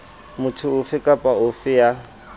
motho ofe kapa ofe ya